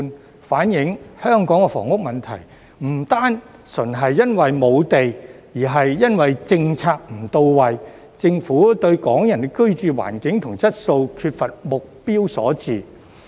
這反映香港房屋問題不單純是因為沒有地，而是因為政策不到位，政府對港人的居住環境及質素缺乏目標所致。